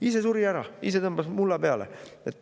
Ise suri ära, ise tõmbas mulla peale.